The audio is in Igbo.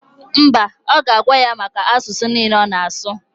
Mba, ọ ga-agwa ya maka asụsụ niile ọ na-asụ.